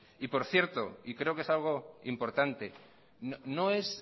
por cierto y creo que es algo importante